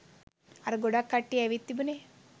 අර ගොඩක් කට්ටිය ඇවිත් තිබුණේ.